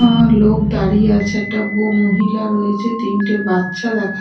আ লোক দাঁড়িয়ে আছে একটা বউ মহিলা রয়েছে তিনটে বাচ্চা দেখা--